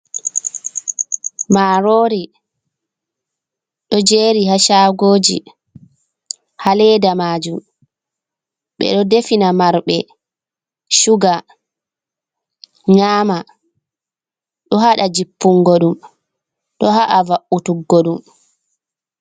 Maaroori, ɗo jeeri ha shaagooji, ha leeda maajum, ɓe ɗo defina marɓe shuga, nyaama. Ɗo haɗa jippungo ɗum, ɗo ha'a va'u'tungo ɗum.